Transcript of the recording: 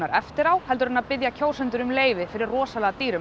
eftir á heldur en að biðja kjósendu r um leyfi fyrir rosalega dýrum